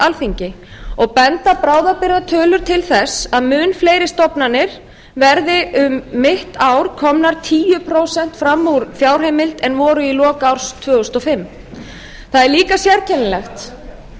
alþingi og benda bráðabirgðatölur til þess að mun fleiri stofnanir verði um mitt ár komnar tíu prósent fram úr fjárheimild en voru í lok árs tvö þúsund og fimm það er eiga sérkennilegt að